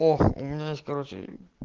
оо у меня есть короче